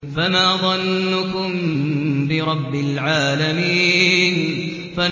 فَمَا ظَنُّكُم بِرَبِّ الْعَالَمِينَ